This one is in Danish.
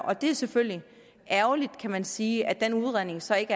og det er selvfølgelig ærgerligt kan man sige at den udredning så ikke